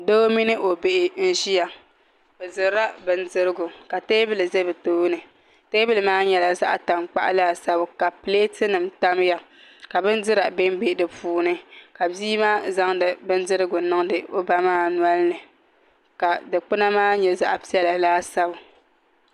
Doo mini o bihi n ʒiya bi dirila bindirigu ka teebuli ʒɛ bi tooni teebuli maa nyɛla zaɣ tankpaɣu laasabu ka pileet nim tamya ka bindira bɛnbɛ di puuni ka bia maa zaŋdi bindirigu niŋdi o ba maa nolini ka dikpuna maa nyɛ zaɣ piɛla laasabu